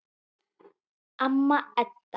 Amma Edda.